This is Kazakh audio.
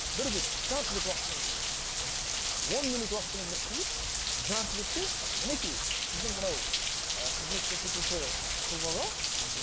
бір бет жарты бет уақытыңыз он минут уақытыңызды қиып жарты бетте мінекей сіздің мынау ы қызмет көрсетуші тұлғалар мхм